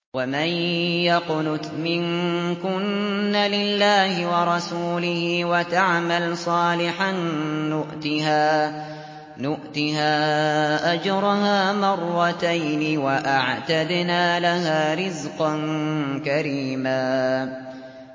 ۞ وَمَن يَقْنُتْ مِنكُنَّ لِلَّهِ وَرَسُولِهِ وَتَعْمَلْ صَالِحًا نُّؤْتِهَا أَجْرَهَا مَرَّتَيْنِ وَأَعْتَدْنَا لَهَا رِزْقًا كَرِيمًا